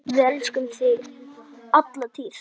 Um þetta var raunar deilt.